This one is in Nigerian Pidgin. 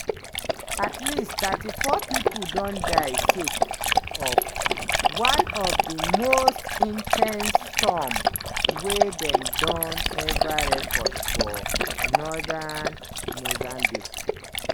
at least 34 pipo don die sake of "one of di most in ten se storms wey dem don eva record" for northern mozambique.